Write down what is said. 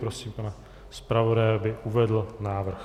Prosím pana zpravodaje, aby uvedl návrh.